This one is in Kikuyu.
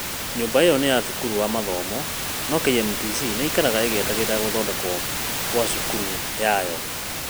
Nyũmba ĩyo nĩ ya thukuru wa mathomo no KMTC nĩ ĩĩikaragia ĩgĩetagĩrĩra gũthondekwo kwa cukuru yayo.